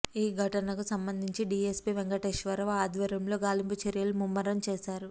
ఈ ఘటనకు సంబంధించి డీఎస్పీ వెంకటేశ్వరరావు ఆధ్వర్యంలో గాలింపు చర్యలు ముమ్మరం చేశారు